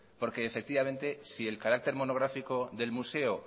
porque efectivamente si el carácter monográfico del museo